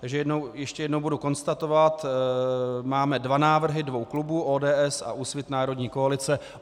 Takže ještě jednou budu konstatovat: Máme dva návrhy dvou klubů - ODS a Úsvit - národní koalice.